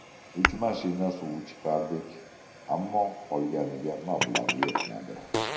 Uch mashina suv chiqardik, ammo qolganiga mablag‘ yetmadi.